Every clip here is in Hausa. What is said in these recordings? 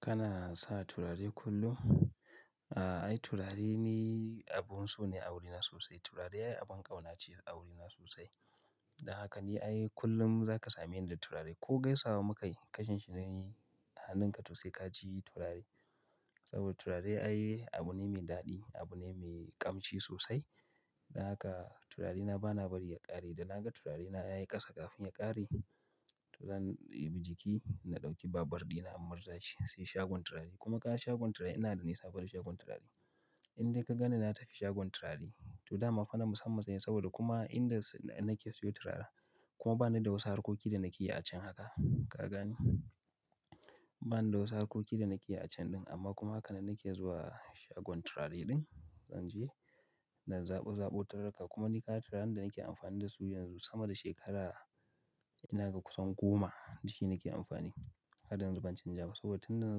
Kana sa turare kullum? A'a, ai turare ni abun so ne a wurina sosai. Turare ai abin ƙauna ce a wurina sosai. Don haka ni ai kullum za ka same ni da turare. Ko gaisawa muka yi, kashinshi ni a hannunka to sai ka ci turare. Saboda turare ai abu ne mai daɗi, abu ne mai ƙamshi sosai. Don haka turarena bana bari ya ƙare. Da naga turarena ya yi ƙasa kafin ya ƙare, to zan ɗibi jiki na ɗauki babur ɗina in murzashi sai shagon turare. Kuma kaga shagon turare ina da nisa da shagon turare. Inde ka ganni na tafi shagon turare to dama fa na musamman ce ne saboda kuma inda nake siyo turare kuma bana da wasu harkoki da nake yi a can haka, ka gani. Bana da wasu harkoki da nake yi a can ɗin amma kuma haka ne nake zuwa shagon turare ɗin in je, na zabo zaɓo turarurruka kuma ni kaga turaren da nake amfani da su yanzu sama da shekara ina ga kusan goma da shi nake amfani. Haryanzu ban canja ba saboda tun da na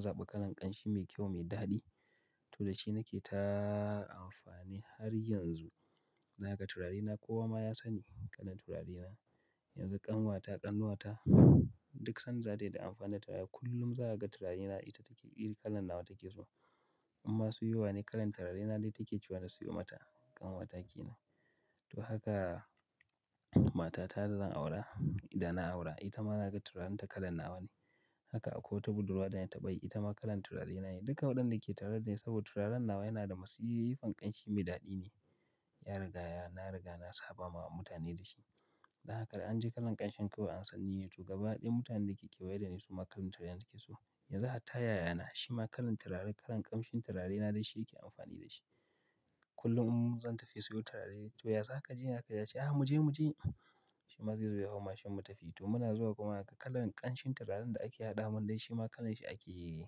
zaɓi kalan ƙanshi mai kyau, mai daɗi to da shi nake ta amfani har yanzu. Naga turarena, kowa ma ya sani kalan turarena. Yanzu ƙanwata, ƙanwata duk sanda dai ta amfani da kaya kullum za ka ga turarena ita take bi, kalan nawa take so. Amma siyo wa ne kalan turarena dai take ce wa na siyo mata, ƙanwata ke nan. To haka matata da zan aura, idan na aura ita ma naga turarenta kalan nawa ne. Haka akwai wata Budurwa da na taɓa yi ita ma kalan turarena ne. Duka waɗanda nake tare da ni saboda turaren nawa yana da masifan ƙanshi mai daɗi ne. Ya riga ya, na riga na saba ma mutane da shi. Don haka idan an ji kalan ƙanshin kawai an san nine to gaba ɗaya mutanen da ke kewaye da ni su ma kalan turarena suke so. Yanzu hatta yayana shi ma kalan turare kalan ƙanshin turarena dai shi yake amfani da shi. Kullum in zan tafi siyo turare to ya saƙa jiya haka ya ce, "Ah mu je mu je." Shima zayazo ya hau mashin mu tafi. To muna zuwa kuma haka kalan ƙanshin turaren da ake haɗa min dai shi ma kalan shi ake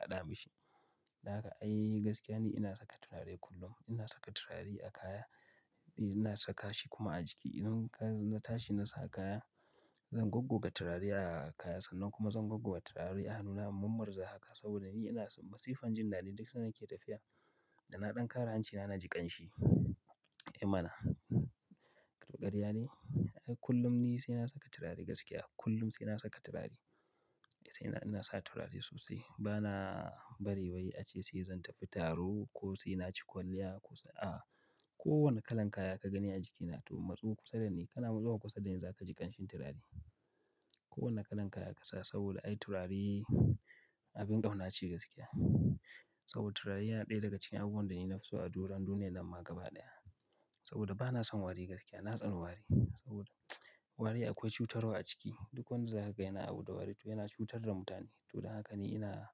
haɗa mishi. Don haka ai gaskiya ni ina saka turare kullum. Ina saka turare a kaya, ina saka shi kuma a jiki. Idan na tashi na sa kaya, zan goggo ga turare a kaya sannan kuma zan goggo ga turare a hannuna in murnmarza haka saboda ni yana masifan jinnadi duk sanda nake tafiya da na ɗan ƙara hanci na, na ji ƙanshi. Eh mana, ƙarya ne. Ai kullum ni sai na saka turare gaskiya. Kullum sai na saka turare. Sai ina sa turare sosai. Bana bari wai ace sai zan tafi taro ko sai na ci kwalliya ko a'a ko wane kalan kaya ka gani a jikina to matsu kusa da ni kana zuwa kusa da ni za ka ji ƙanshi turare. Ko wane kalan kaya ka sa saboda ai turare abin ƙauna ce gaskiya. Saboda turare yana ɗaya daga cikin abun da ni yi nafi so a doron duniyyan nan ma gaba ɗaya. Saboda bana son wari gaskiya. Na tsani wari saboda wari akwai cutarwa a ciki. Duk wanda za kaga yana abu da wari to yana cutar da mutane. To don haka ni ina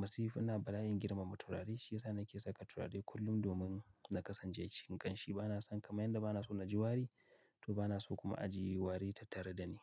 masifina, bala'in girmama turare shi ya sa nake saka turare kullum domin na kasance cikin ƙanshi. Bana son kamar yadda bana so na ji wari to bana so kuma a ji wari tattare da ni.